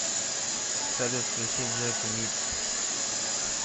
салют включи джек вит